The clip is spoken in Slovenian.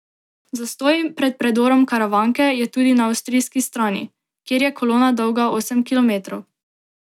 Zastoj pred predorom Karavanke je tudi na avstrijski strani, kjer je kolona dolga osem kilometrov.